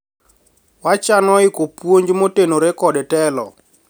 wachano iko puonj motenore kod telo